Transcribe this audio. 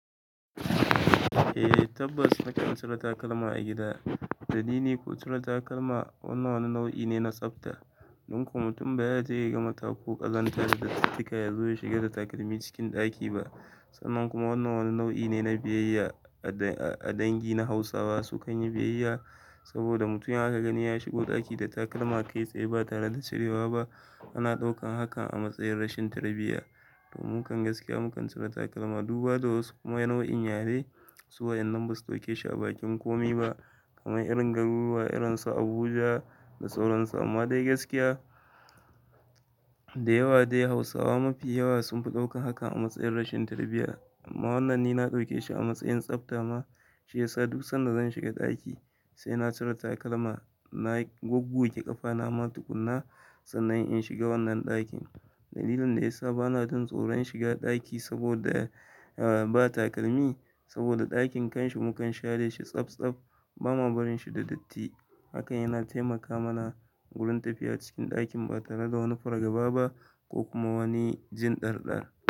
Eh tabbas, mukan cire takalma a gida. Dalili ko cire takalma wannan wani nau'i ne na tsabta. Danko mutum bayaje ya gama taku ƙazanta da dattika yazo ya shiga da takalmi cikin ɗaki ba. Sannan kuma wannan wani nau'i ne na biyayya a dangi na Hausawa sukan yi biyayya. Saboda mutumi in aka gani ya shigo ɗaki da takalma kai tsaye ba tare da cirewa ba, ana ɗaukan hakan a matsayin rashin tarbiyya. To mukan gaskiya mukan cire takalma duba da wasu kuma yana nau'in yare. Suwayen nan basu ɗauke shi a bakin komi ba kamar irin garuruwa irin su Abuja da sauran su. Amma dai gaskiya da yawa dai Hausawa mafi yawa sunfi ɗaukan hakan a matsayin rashin tarbiyya. Amma wannan ni na ɗauke shi a matsayin tsabta ma shiyasa duk sanda zan shiga ɗaki sai na cire takalma. Na goggoge ƙafa na ma tukuna sannan in shiga wannan ɗakin. Dalilin da yasa bana jin tsoron shiga ɗaki saboda ba takalmi saboda ɗakin kan shi mu kan share shi tsabtsaf, bam barin shi da datti. Hakan yana taimaka mana wurin tafiya cikin ɗakin ba tare da wani fargaba ba ko kuma wani jin ɗarɗar.